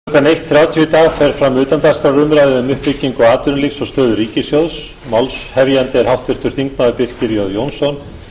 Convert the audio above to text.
um klukkan eitt þrjátíu í dag fer fram utandagskrárumræða um upplýsingu atvinnulífs og stöðu ríkissjóðs málshefjandi er háttvirtur þingmaður birkir j jónsson